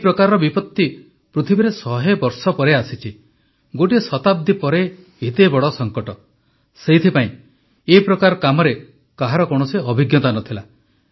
ଏହି ପ୍ରକାରର ବିପତ୍ତି ପୃଥିବୀରେ ଶହେବର୍ଷ ପରେ ଆସିଛି ଗୋଟିଏ ଶତାବ୍ଦୀ ପରେ ଏତେ ବଡ଼ ସଙ୍କଟ ସେଇଥିପାଇଁ ଏ ପ୍ରକାର କାମରେ କାହାର କୌଣସି ଅଭିଜ୍ଞତା ନଥିଲା